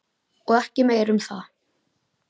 Og ekki meira um það.